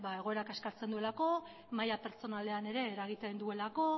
egoera kaskartzen duelako maila pertsonalean ere eragiten duelako